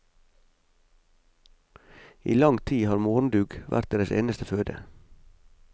I lang tid har morgendugg vært deres eneste føde.